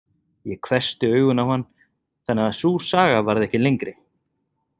Ég hvessti augun á hann þannig að sú saga varð ekki lengri.